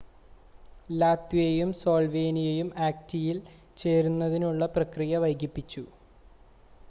ലാത്വിയയും സ്ലോൾവേനിയയും ആക്റ്റയിൽ ചേരുന്നതിനുള്ള പ്രക്രിയ വൈകിപ്പിച്ചു